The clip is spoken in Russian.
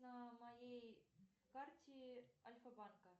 на моей карте альфа банка